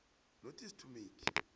notice to make